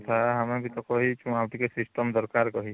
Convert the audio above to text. ଆମେ ବି ତ କହିଛୁ ଆଉ ଟିକେ system ଦରକାର କହି